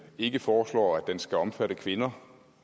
ikke foreslår at den skal omfatte kvinder